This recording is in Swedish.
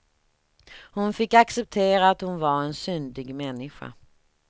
Hon fick acceptera, att hon var en syndig människa.